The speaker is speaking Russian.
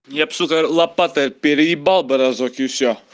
я бы сука лопатой переебал бы разок и всё